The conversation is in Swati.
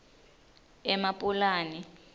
emapulani